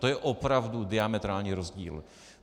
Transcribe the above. To je opravdu diametrální rozdíl.